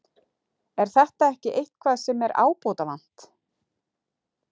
Er þetta ekki eitthvað sem er ábótavant?